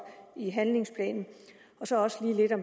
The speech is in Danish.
i handlingsplanen